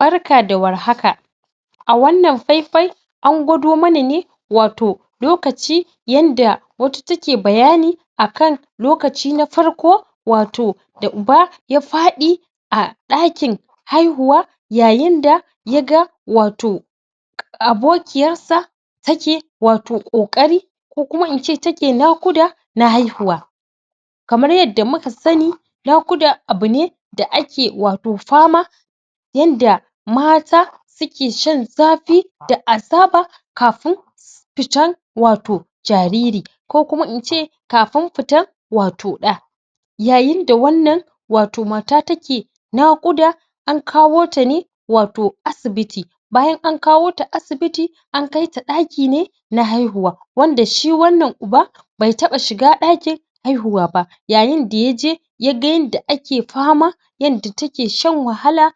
Barka da war haka a wan nan fai-fai an kwado mana ne wato lokaci yadda wata take bayani akan lokaci na farko wato da uba ya fadi a dakin haihuwa yayin da ya ga wato abokinyarsa take wato kokari kokuma ince take nakuda na haihuwa kamar yadda muka sani nakuda abune da ake wato fama yadda wato mata suke shan zafi da azaba kafin fitan wato jariri ko kuma ince kafin fitan wato da yayin da wan nan wato mata take nakuda an kahota ne wato asibiti bayan an kahota asibiti an kai ta dadi ne na haihuwa wanda shi wan nan uba bai taba shiga dakin haihuwa ba yayin da ya je yaga yadda ya ke fama yadda take shan wahala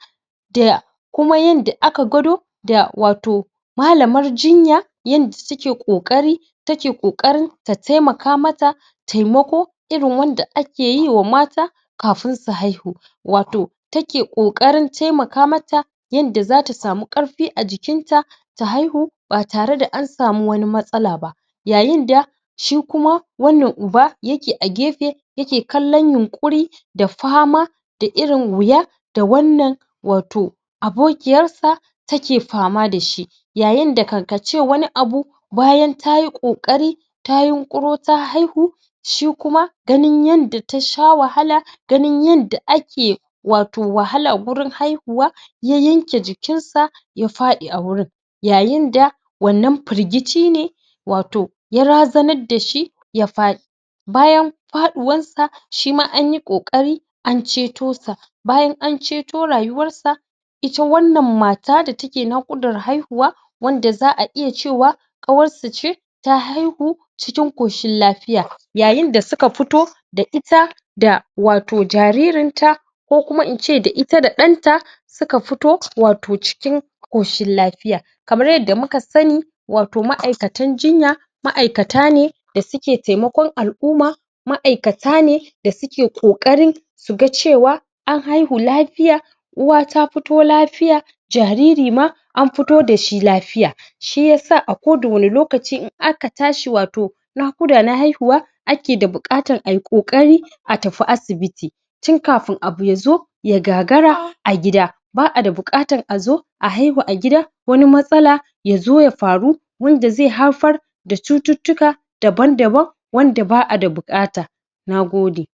da kuma yadda aka kwado da wato malaman jinya yadda take kokarin take kokarin ta taimakamata taimako irin wadda ake taimakwa mata kafin su haihu wato take kokarin, taimaka mata yadda za ta samu karfi a jikin ta ta haihu ba tare da an samu wani matsalaba yayin da shi kuma wan nan uba yake a gefe, yake kanlon yinkuri da fama da irin huya da wan nan wato abokiyarsa take fama da shi yayin da kan kace wani abu, bayan tayi kokari ta hinkuro ta haihu shi kuma ganin yadda ta sha wahala ganin yadda ake wahala wato cikin haihuwa ya yanke jikin sa ya fadi a gurin yayin da wan nan firgicine wato ya razanar dashi ya fadi bayan faduwar sa, shima anyi kokari an ceto sa bayan an ceto rayuwar sa ita wan nan mata da take nakudan haihuwa wan da zaa iya cewa kawarsu ce ta haihu cikin koshin lafiya yayin da suka fito da ita da wato jaririnta ko kuma in ce da ita da danta suka fito cikin koshin koshinn lafiya kaman yadda muka sani wato maaikatan jinya maaikata ne da suke taimakon al'umma ma'aikata ne da suke kokarin su ga cewa an haihu lafiya uwa ta fito lafiya, jariri ma an fito da shi lafiya shi isa a kowan ne lokaci in akatashi wato nakuda na haihuwa akeda bukatan kokari a tafi asibiti tun kafin abu ya zo ya gagara a gida, baa da bukatan a zo, a haihu a gida wani matsala ya zo ya faru wan da zai haifar da cutittika daban daban wanda ba a da bukata na gode